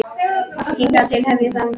Hingað til hef ég þagað.